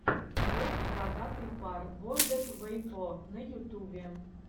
влог бородатый пар бэрдэд вэйпо на ютубе